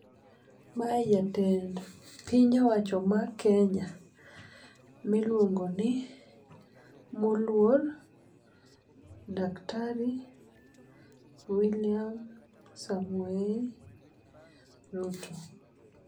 Mae jatend piny owacho mar Kenya miluongo ni moluor daktari William Samoei Ruto.